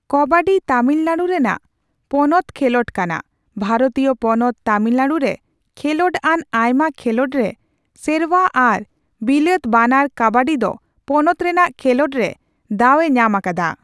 ᱠᱚᱵᱟᱰᱤ ᱛᱟᱢᱤᱞᱱᱟᱰᱩ ᱨᱮᱱᱟᱜ ᱯᱚᱱᱯᱛ ᱠᱷᱮᱞᱚᱸᱰ ᱠᱟᱱᱟ ᱾ ᱵᱷᱟᱨᱚᱛᱤᱭᱚ ᱯᱚᱱᱚᱛ ᱛᱟᱹᱢᱤᱞᱱᱟᱹᱰᱩ ᱨᱮ ᱠᱷᱮᱞᱚᱸᱰ ᱟᱱ ᱟᱭᱢᱟ ᱠᱷᱮᱞᱚᱸᱰ ᱨᱮ, ᱥᱮᱨᱣᱟ ᱟᱨ ᱵᱤᱞᱟᱹᱛ ᱵᱟᱱᱟᱨ, ᱠᱟᱵᱟᱰᱤ ᱫᱚ ᱯᱚᱱᱚᱛ ᱨᱮᱱᱟᱜ ᱠᱷᱮᱞᱳᱸᱰ ᱨᱮ ᱫᱟᱣ ᱮ ᱧᱟᱢ ᱟᱠᱟᱫᱟ ᱾